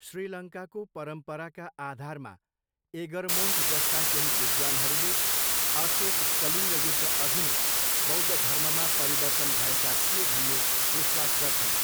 श्रीलङ्काको परम्पराका आधारमा, एगरमोन्ट जस्ता केही विद्वानहरूले अशोक कलिङ्ग युद्धअघि नै बौद्ध धर्ममा परिवर्तन भएका थिए भन्ने विश्वास गर्छन्।